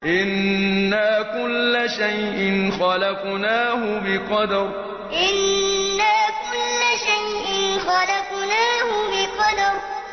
إِنَّا كُلَّ شَيْءٍ خَلَقْنَاهُ بِقَدَرٍ إِنَّا كُلَّ شَيْءٍ خَلَقْنَاهُ بِقَدَرٍ